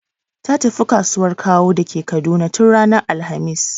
Ta tafi kasuwan Kawo da ke Kaduna tun ranar alhamis.